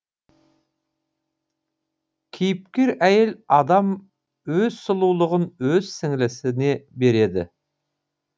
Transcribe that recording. кейіпкер әйел адам өз сұлулығын өз сіңлісіне береді